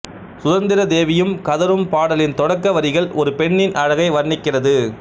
சுதந்தரதேவியும் கதரும் பாடலின் தொடக்க வரிகள் ஒரு பெண்ணின் அழகை வர்ணிக்கிறது